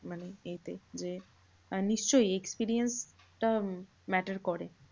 মানে এইটাই যে মানে নিশ্চই experience টা matter করে।